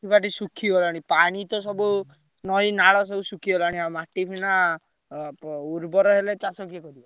ମାଟି ଫାଟି ଶୁଖିଗଲାଣି ପାଣିତ ସବୁ ନଈ, ନାଳ ସବୁ ଶୁଖିଗଲାଣି ଆଉ ମାଟି ଅ ପ ଉର୍ବର ହେଲେ ଚାଷ କିଏ କରିବ।